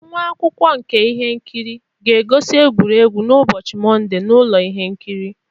Nwa akwụkwọ nka ihe nkiri ga-egosi egwuregwu n'ụbọchị Mọnde na ụlọ ihe nkiri.